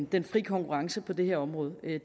den fri konkurrence på det her område